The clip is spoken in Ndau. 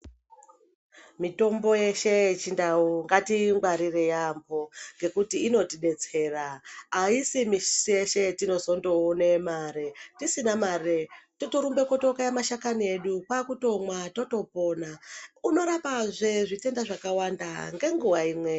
Mitombo yeshe yechindau ngatiingwarire yaampho ngekuti inotidetsera..Aisi misi yeshe yetinozondoone mare. Tisina mare, totorumbe kokaye mashakani edu, kwaakumwa kwaakutopona. Unorapazve zvitenda zvakawanda ngenguwa imwe.